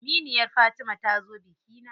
Aminiyar Fatima ta zo bikina.